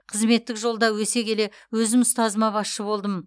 қызметтік жолда өсе келе өзім ұстазыма басшы болдым